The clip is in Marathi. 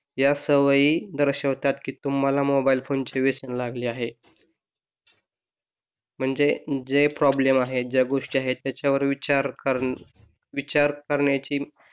या सवयी दर्शवितात की तुम्हाला मोबाइल फोन चे व्यसन लागले आहे म्हणजे जे प्रॉब्लेम आहेत ज्या गोष्टी आहेत त्यावर विचार करण्या विचार करण्याची,